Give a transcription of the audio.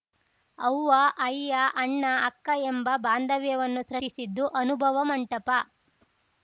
ಅವ್ವ ಅಯ್ಯ ಅಣ್ಣ ಅಕ್ಕ ಎಂಬ ಬಾಂಧವ್ಯವನ್ನು ಸೃಷ್ಟಿಸಿದ್ದು ಅನುಭವ ಮಂಟಪ